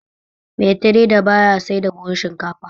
Mai tireda baya sai da buhu shinkafa